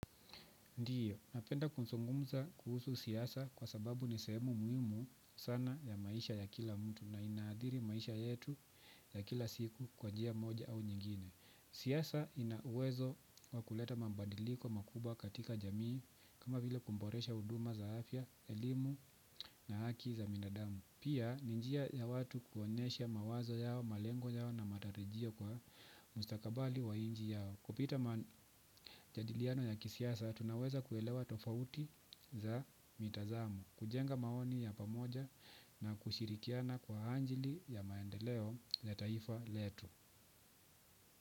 Ndiyo, napenda kuzungumza kuhusu siasa kwa sababu ni sehemu muhimu sana ya maisha ya kila mtu na inahadhiri maisha yetu ya kila siku kwa njia moja au nyingine. Siasa ina uwezo wa kuleta mabadiliko makubwa katika jamii kama vile kuboresha huduma za afya, elimu na haki za binadamu. Pia, ni njia ya watu kuonyesha mawazo yao, malengo yao na matarijio kwa mustakabali wa nchi yao. Kupitia majadiliano ya kisiasa, tunaweza kuelewa tofauti za mitazamo, kujenga maoni ya pamoja na kushirikiana kwa ajili ya maendeleo ya taifa letu.